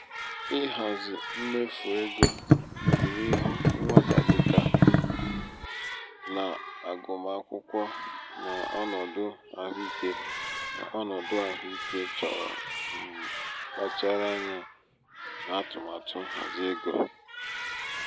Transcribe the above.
ịhazi um mmefu um égo ọdịnihu nwata dị ka n'agụmakwụkwọ na ọnọdụ ahụike na ọnọdụ ahụike choro um mkpachara anya n'atụmatụ nhazi égo.